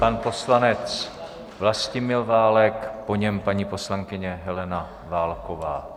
Pan poslanec Vlastimil Válek, po něm paní poslankyně Helena Válková.